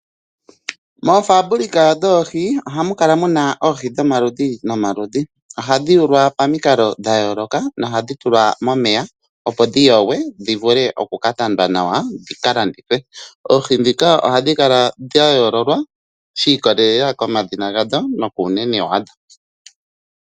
Moofabulika dhoohi oha mu kala mu na oohi dhomaludhi nomaludhi, ohadhi yulwa pamikalo dha yooloka nohadhi tulwa momeya opo dhi yogwe dhi vule okukatandwa nawa dhika landithwe. Oohi ndhika ohadhi kala dha yoololwa shiikolelela komadhina gadho nokuunene wadho.